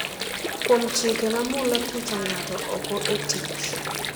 kuom chike ma mulo thicho ng’ato oko e tich